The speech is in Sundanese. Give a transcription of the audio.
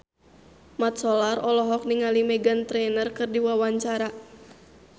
Mat Solar olohok ningali Meghan Trainor keur diwawancara